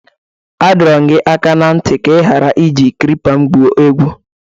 A dọrọ m gị aka na ntị ka ị ghara iji klipa m gwuo egwu!